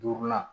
Duurunan